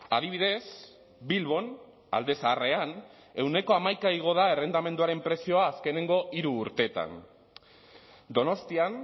adibidez bilbon alde zaharrean ehuneko hamaika igo da errentamenduaren prezioa azkenengo hiru urteetan donostian